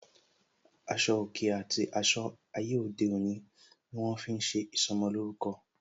Aṣọ òkè àti aṣọ ayé òde òní ni wọn fi ń ṣe ìsọmolórúkọ